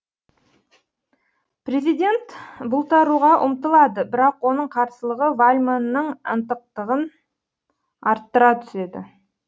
президент бұлтаруға ұмтылады бірақ оның қарсылығы вальмонның ынтықтығын арттыра түседі